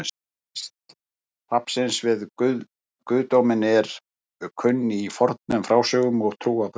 Tengsl hrafnsins við guðdóminn eru kunn í fornum frásögnum og trúarbrögðum.